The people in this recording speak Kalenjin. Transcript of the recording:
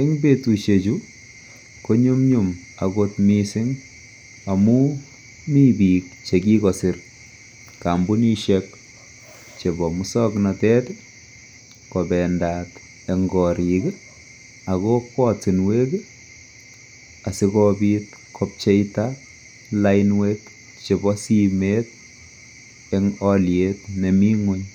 en betushek chu konyumyum agot mising amuun mii biik biik chegigosir kompunishek chebo musoknotet iih kobendaat en koriik anan ko ortinweek iih asigobiit kobcheita lainweek chebo simeet en oliet nemii nweny.